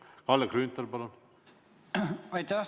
Kalle Grünthal, palun!